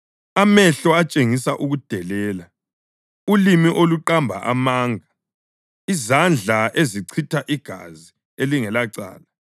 amehlo atshengisa ukudelela, ulimi oluqamba amanga, izandla ezichitha igazi elingelacala,